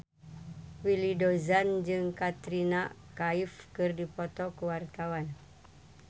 Willy Dozan jeung Katrina Kaif keur dipoto ku wartawan